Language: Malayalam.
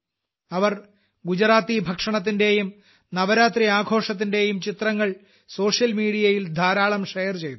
അവർ ഗുജറാത്തി ഭക്ഷണത്തിന്റെയും നവരാത്രി ആഘോഷത്തിന്റെയും ചിത്രങ്ങൾ സോഷ്യൽ മീഡിയ യിൽ ധാരാളം ഷെയർചെയ്തു